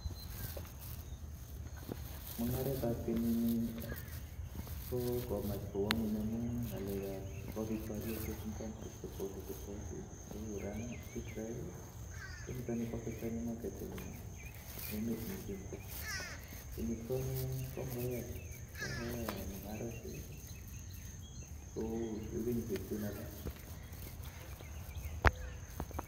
Mung'aretab kenyini koo komach kowo ngweny amun ng'alekan kobit boriosiek en country chekotofautitofauti kou Iran ,Israel konito koaffecteni market eng emet misima, kenyit konyee koma koyaak mung'arosiek kou kenyisiek chun alak.